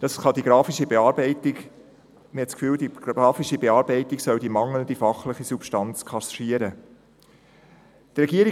Man hat den Eindruck, dass die grafische Bearbeitung die mangelnde fachliche Substanz kaschieren sollte.